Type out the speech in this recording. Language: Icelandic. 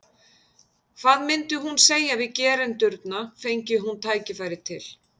Hvað myndi hún segja við gerendurna, fengi hún tækifæri til?